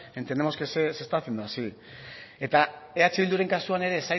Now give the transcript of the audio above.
entendemos que se está haciendo así eta eh bilduren kasuan ere ez